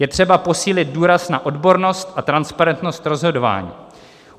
Je třeba posílit důraz na odbornost a transparentnost rozhodování.